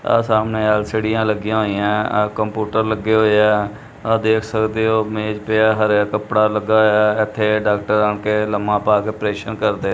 ਆ ਸਾਹਮਣੇ ਆਲਸੀਡੀਆਂ ਲੱਗੀਆਂ ਹੋਈਆਂ ਕੰਪਿਊਟਰ ਲੱਗੇ ਹੋਏ ਆ ਆ ਦੇਖ ਸਕਦੇ ਹੋ ਮੇਜ ਪਿਆ ਹਰਾ ਕੱਪੜਾ ਲੱਗਾ ਹੋਇਆ ਇਥੇ ਡਾਕਟਰ ਆ ਕੇ ਲੰਮਾ ਪਾ ਕੇ ਪਰੇਸ਼ਨ ਕਰਦੇ--